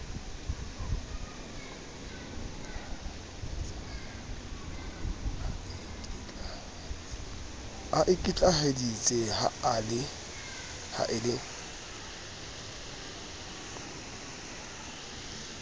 a ikitlaheditse ha e le